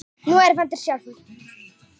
Nú er vandinn sjálfur.